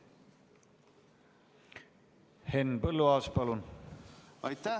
Henn Põlluaas, palun!